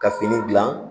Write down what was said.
Ka fini gilan